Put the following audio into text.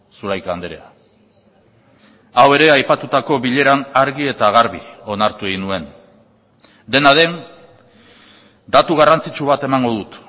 zulaika andrea hau ere aipatutako bileran argi eta garbi onartu egin nuen dena den datu garrantzitsu bat emango dut